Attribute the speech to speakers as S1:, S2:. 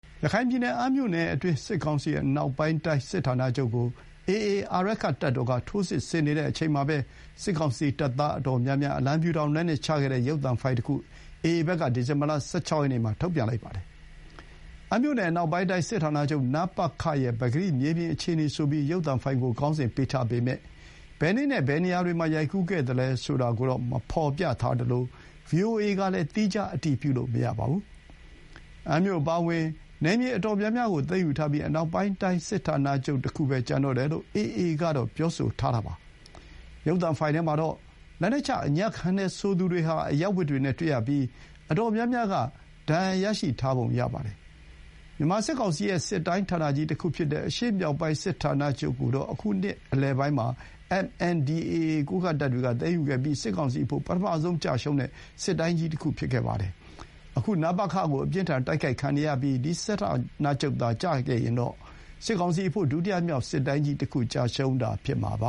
S1: ရခိုင်ပြည်နယ် အမ်းမြို့နယ်တွင်း စစ်ကောင်စီအနောက်ပိုင်းတိုင်းစစ်ဌာနချုပ်ကို AA အာရက္ခတပ်တော်က ထိုးစစ်ဆင်နေတဲ့အချိန်မှာပဲ၊ စစ်ကောင်စီတပ်သား အတော်များများ အလံဖြူထောင်လက်နက်ချခဲ့တဲ့ ရုပ်သံဖိုင်တခု AA ဘက်က ဒီဇင်ဘာ ၁၆ ရက်နေ့မှာ ထုတ်ပြန်ပါတယ်။ အမ်းမြို့နယ် အနောက်ပိုင်းတိုင်းစစ်ဌာနချုပ်(နပခ)ရဲ့ ပကတိမြေပြင်အခြေအနေဆိုပြီး ရုပ်သံဖိုင်ကို ခေါင်းစဉ်ပေးထားပေမယ့်၊ ဘယ်နေ့နဲ့ ဘယ်နေရာမှာ ရိုက်ကူးခဲ့သလဲဆိုတာကို မဖော်ပြထားသလို ဗွီအိုအေကလည်း သီးခြားအတည်ပြုလို့မရပါဘူး။ အမ်းမြို့အပါအဝင် နယ်မြေအတော်များများကို သိမ်းယူထားပြီး၊ အနောက်ပိုင်းတိုင်း စစ်ဌာနချုပ်တခုပဲ ကျန်တော့တယ်လို့ AA က ပြောဆိုထားတာပါ။ ရုပ်သံဖိုင်ထဲမှာတော့ လက်နက်ချအညံ့ခံတယ်ဆိုသူတွေဟာ အရပ်ဝတ်တွေနဲ့ တွေ့ရပြီး၊ အတော်များများက ဒဏ်ရာရရှိထားပုံရပါတယ်။ မြန်မာစစ်ကောင်စီရဲ့ စစ်တိုင်းဌာနကြီးတခုဖြစ်တဲ့ အရှေ့မြောက်ပိုင်းစစ်ဌာနချုပ်ကိုတော့ အခုနှစ်လယ်ပိုင်းမှာ MNDAA ကိုးကန့်တပ်တွေက သိမ်းယူခဲ့ပြီး စစ်ကောင်စီအဖို့ ပထမဆုံးကျရှုံးတဲ့ စစ်တိုင်းကြီးတခုဖြစ်ပါတယ်။ အခု နပခ ကို အပြင်းအထန်တိုက်ခိုက်ခံနေရပြီး၊ ဒီ စစ်ဌာနချုပ်သာ ကျရင်တော့ စစ်ကောင်စီအဖို့ ဒုတိယမြောက် စစ်တိုင်းကြီးတခု ကျရှုံးမှု
S2: ဖြစ်မှာပ